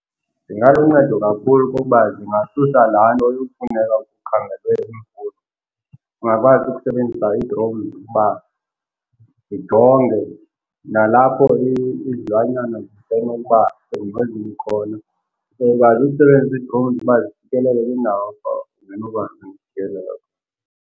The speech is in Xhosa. Zingaluncedo kakhulu kuba zingasusa laa nto yofuneka kukhangelwe imfuyo. Ungakwazi ukusebenzisa idrowuni ukuba zijonge, nalapho izilwanyana zisenokuba sengozini khona, izokwazi ukusebenzisa ii-drones uba zifikelele kwindawo ongenokwazi ukufikelela.